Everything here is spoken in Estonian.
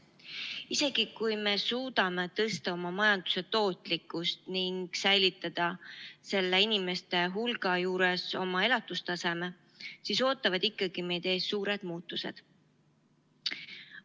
Isegi kui me suudame tõsta oma majanduse tootlikkust ning säilitada selle inimeste hulga juures oma elatustaseme, ootavad ikkagi meid ees suured muutused.